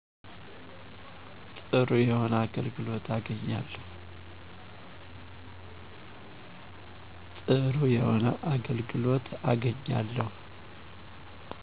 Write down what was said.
ጥሩ የሆነ አገልግሎት አገኛለው